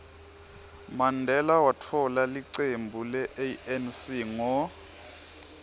mandela watfola licembu le anc ngo